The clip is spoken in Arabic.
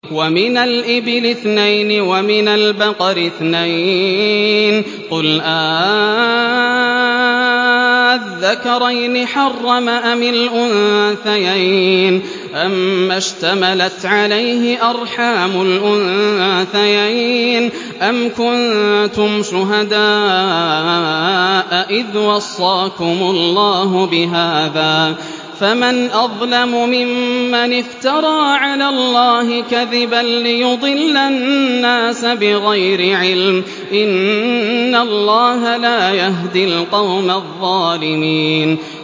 وَمِنَ الْإِبِلِ اثْنَيْنِ وَمِنَ الْبَقَرِ اثْنَيْنِ ۗ قُلْ آلذَّكَرَيْنِ حَرَّمَ أَمِ الْأُنثَيَيْنِ أَمَّا اشْتَمَلَتْ عَلَيْهِ أَرْحَامُ الْأُنثَيَيْنِ ۖ أَمْ كُنتُمْ شُهَدَاءَ إِذْ وَصَّاكُمُ اللَّهُ بِهَٰذَا ۚ فَمَنْ أَظْلَمُ مِمَّنِ افْتَرَىٰ عَلَى اللَّهِ كَذِبًا لِّيُضِلَّ النَّاسَ بِغَيْرِ عِلْمٍ ۗ إِنَّ اللَّهَ لَا يَهْدِي الْقَوْمَ الظَّالِمِينَ